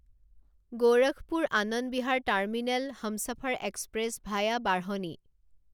Gorakhpur Anand Vihar terminal Humsafar express via বাঢ়নি